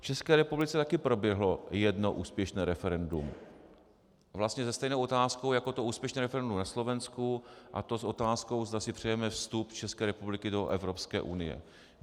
V České republice také proběhlo jedno úspěšné referendum, vlastně se stejnou otázkou jako to úspěšné referendum na Slovensku, a to s otázkou, zda si přejeme vstup České republiky do Evropské unie.